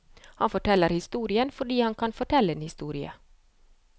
Han forteller historien fordi han kan fortelle en historie.